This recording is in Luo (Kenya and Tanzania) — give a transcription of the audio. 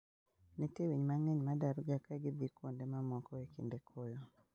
Nitie winy mang'eny ma darga ka gidhi kuonde mamoko e kinde koyo.